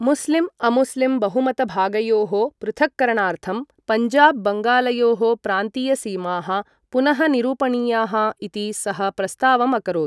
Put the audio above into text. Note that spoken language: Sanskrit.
मुस्लिम् अमुस्लिम् बहुमतभागयोः पृथक्करणार्थं पञ्जाब् बङ्गालयोः प्रान्तीयसीमाः पुनः निरूपणीयाः इति सः प्रस्तावम् अकरोत्।